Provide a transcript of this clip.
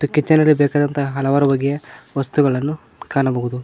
Kitchen ಅಲ್ಲಿ ಬೇಕಾದಂತ ಹಲವಾರು ಬಗೆಯ ವಸ್ತುಗನ್ನು ಕಾಣಬಹುದು.